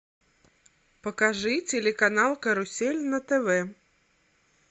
покажи телеканал карусель на тв